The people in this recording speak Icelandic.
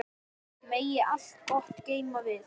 Megi allt gott geyma þig.